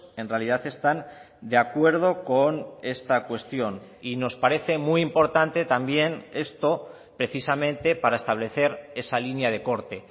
en realidad están de acuerdo con esta cuestión y nos parece muy importante también esto precisamente para establecer esa línea de corte